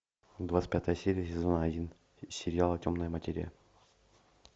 двадцать пятая серия сезона один сериала темная материя